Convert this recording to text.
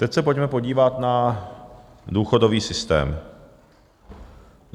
Teď se pojďme podívat na důchodový systém.